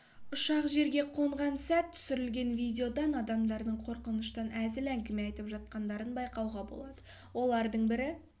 ұшақ жерге қонған сәт түсірілген видеодан адамдардың қорқыныштан әзіл әңгіме айтып жатқандарын байқауға болады олардың бірі